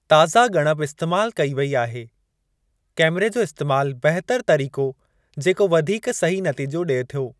ताज़ा ॻणप इस्तेमाल कई वेई आहे। कैमरे जो इस्तेमाल बहितर तरीक़ो जेको वधीक सही नतीजो ॾिए थो।